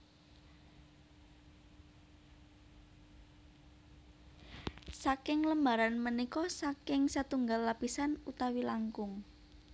Saking lembaran punika saking satunggal lapisan utawi langkung